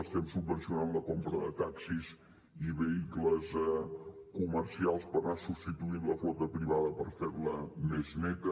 estem subvencionant la compra de taxis i vehicles comercials per anar substituint la flota privada i fer la més neta